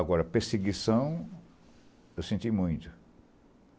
Agora, perseguição, eu senti muito.